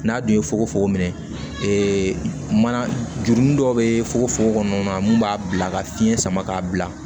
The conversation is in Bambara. N'a don fokofoko minɛ ee mana jurunin dɔ bɛ fogofogo kɔnɔ mun b'a bila ka fiɲɛ sama k'a bila